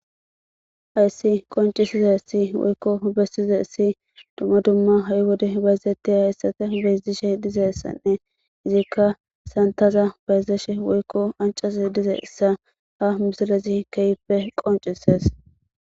hayssi qoncisize si woykko bessize si dumma dumma ha7i wode bayzettiy hayssafe bedishe dize ssanne izikka santaza bayzeshe woykko ancase dize issa ha misilezi keyippe qoncises